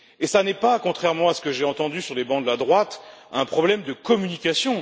Et il ne s'agit pas, contrairement à ce que j'ai entendu sur les bancs de la droite, d'un problème de communication.